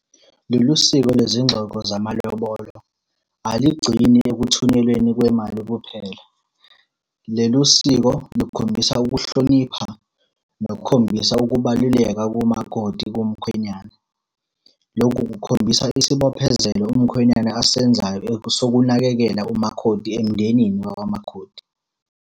Lolu siko lwezingxoxo zamalobolo, aligcini ekuthunyelweni kwemali kuphela. Lelu siko lukhombisa ukuhlonipha nokukhombisa ukubaluleka komakoti kumkhwenyana. Lokhu kukhombisa isibophezelo umkhwenyana asenzayo sokunakekela umakhoti emndenini wakwamakhoti.